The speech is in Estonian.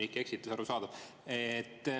Inimlik eksitus, arusaadav.